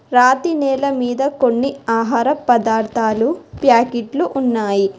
రాతి నేల మీద కొన్ని ఆహార పదార్థాలు ప్యాకిట్లు ఉన్నాయి.